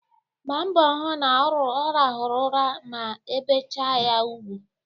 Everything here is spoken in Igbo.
Gbaa mbọ hụ na ọ rahụru ụra ma ebechaa ya ugwu